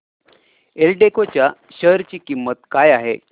एल्डेको च्या शेअर ची किंमत काय आहे